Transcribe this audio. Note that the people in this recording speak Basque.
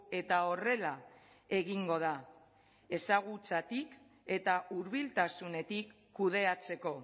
eta horrela egingo da ezagutzatik eta hurbiltasunetik kudeatzeko